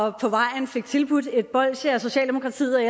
og på vejen fik tilbudt et bolsje af socialdemokratiet